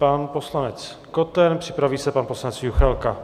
Pan poslanec Koten, připraví se pan poslanec Juchelka.